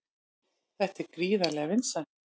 Þetta er gríðarlega vinsælt